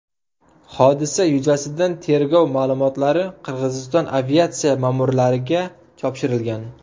Hodisa yuzasidan tergov ma’lumotlari Qirg‘iziston aviatsiya ma’murlariga topshirilgan.